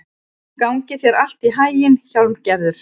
Gangi þér allt í haginn, Hjálmgerður.